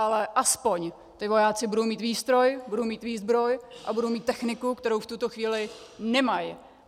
Ale aspoň ti vojáci budou mít výstroj, budou mít výzbroj a budou mít techniku, kterou v tuto chvíli nemají.